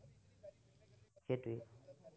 সেইটোৱেই।